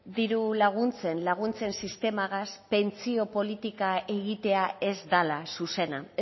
diru laguntzen sistemagaz pentsio politika egitea ez dela zuzena